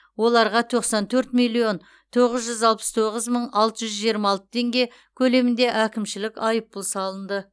оларға тоқсан төрт миллион тоғыз жүз алпыс тоғыз мың алты жүз жиырма алты теңге көлемінде әкімшілік айыппұл салынды